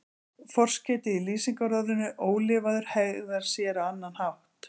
Forskeytið í lýsingarorðinu ólifaður hegðar sér á annan hátt.